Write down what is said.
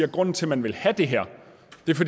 at grunden til man vil have det her